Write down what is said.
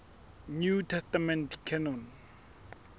new testament canon